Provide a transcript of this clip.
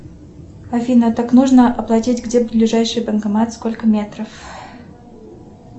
афина так нужно оплатить где ближайший банкомат сколько метров